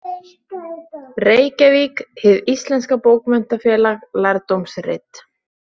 Reykjavík: Hið íslenska bókmenntafélag, lærdómsrit.